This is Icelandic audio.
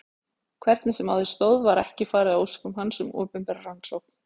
Hvernig sem á því stóð var ekki farið að óskum hans um opinbera rannsókn.